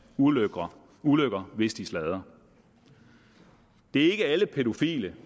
ulykker ulykker hvis de sladrer det er ikke alle pædofile